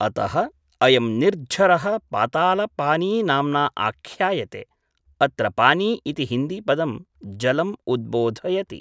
अतः, अयं निर्झरः पातालपानी नाम्ना आख्यायते, अत्र पानी इति हिन्दीपदं जलम् उद्बोधयति।